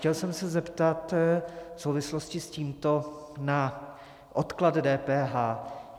Chtěl jsem se zeptat v souvislosti s tímto na odklad DPH.